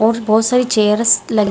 और बहोत सारी चेयर्स लगी --